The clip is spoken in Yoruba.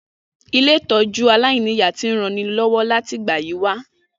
Ilé-ìtójú aláìniya ti n ranilọ́wọ́ láti ìgbà yi wa